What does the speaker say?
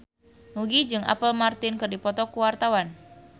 Nugie jeung Apple Martin keur dipoto ku wartawan